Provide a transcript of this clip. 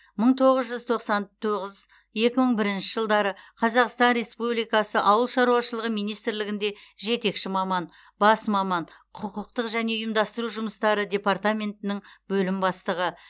мың тоғыз жүз тоқсан тоғыз екі мың бірінші жылдары қазақстан республикасы ауыл шаруашылығы министрлігінде жетекші маман бас маман құқықтық және ұйымдастыру жұмыстары департаментінің бөлім бастығы